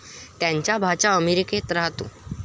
त्यांचा भाचा अमेरिकेत राहतो.